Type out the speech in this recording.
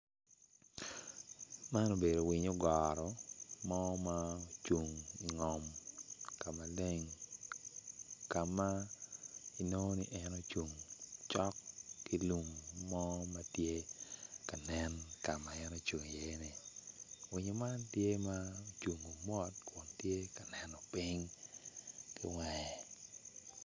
Man ibedo winyo ogoro mo ma ocung ka maleng ka ma inongo ni en ocung cok ki lum mo ma tye ka nen i lum mo ma en ocung iye-ni winyo man tye ma ocungo mot kun tye ka neno piny ki wange.